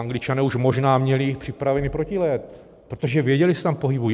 Angličané už možná měli připravený protijed, protože věděli, že se tam pohybují.